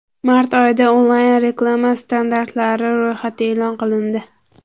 Mart oyida onlayn-reklama standartlari ro‘yxati e’lon qilindi.